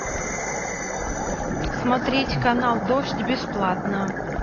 смотреть канал дождь бесплатно